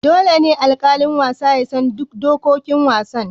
Dole ne alƙalin wasa ya san duk dokokin wasan.